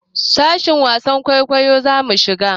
Sashin wasan kwaikwayo zamu shiga.